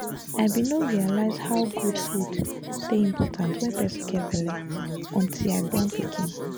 i bin no realize how good food dey important wen person get belle until i born pikin